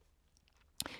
DR2